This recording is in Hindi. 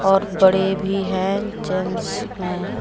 और बड़े भी हैं जेंट्स में ।